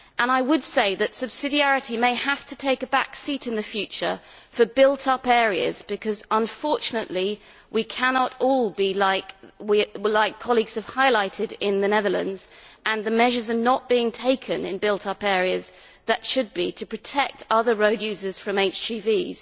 I would say that subsidiarity may have to take a back seat in the future for built up areas, because unfortunately we cannot all follow what colleagues have highlighted in the Netherlands and the measures are not being taken in built up areas that should be taken to protect other road users from HGVs.